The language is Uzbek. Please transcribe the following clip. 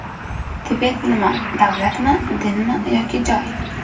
Tibet nima: davlatmi, dinmi yoki joy?